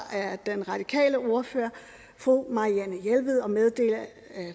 den radikale ordfører fru marianne jelved og meddele